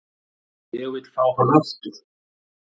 Ég vil fá hann aftur.